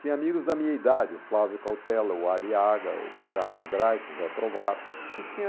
Tinha amigos da minha idade, o Flávio Cautela, o Ali Aga, o Carlos Grais, o Zé Trovato, e tinha...